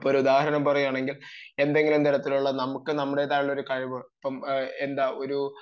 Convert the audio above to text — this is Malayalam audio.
അപ്പം ഒരു ഉദാഹരണം പറയുകയാണെങ്കിൽ എന്തെങ്കിലും തരത്തിലുള്ള നമുക്ക് നമ്മുടേതായിട്ടുള്ള ഒരു കഴിവ് ഇപ്പം എന്താ ഒരു